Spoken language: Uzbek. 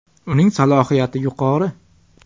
Uning salohiyati yuqori.